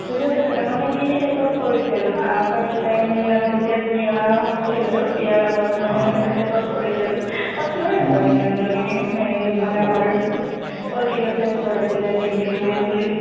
office তে থাকে মানে কি TET ত কৰিছিল আহ first time মানে যেতিয়া বিয়া হৈছিল আৰু বিয়াৰ আগত মানে এনেকে TET ত কৰিছিল কটনৰে হয় ma'am জনী মানে আমাৰ political science ৰ আছিলে ডিম্পী ভূঞাঁ বুলি